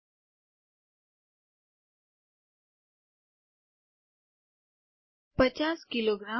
૫૦ kilogram